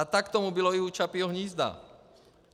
A tak tomu bylo i u Čapího hnízda.